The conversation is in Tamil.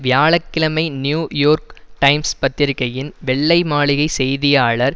வியாழ கிழமை நியூ யோர்க் டைம்ஸ் பத்திரிகையின் வெள்ளை மாளிகை செய்தியாளர்